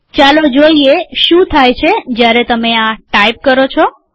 ચાલો જોઈએ શું થાય છે જયારે તમે આ ટાઈપ કરો છો